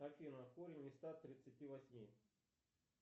афина корень из ста тридцати восьми